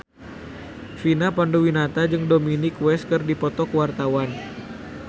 Vina Panduwinata jeung Dominic West keur dipoto ku wartawan